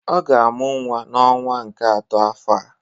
Ọ ga-amụ nwa n'ọnwa nke atọ afọ a